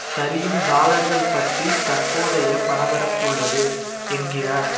சரியும் டாலர்கள் பற்றி தற்போதைய பரபரப்பு உள்ளது என்கிறார்